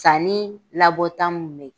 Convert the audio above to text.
Sanni labɔta mun bɛ yen